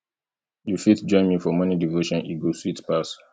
you fit join me for morning devotion e go sweet pass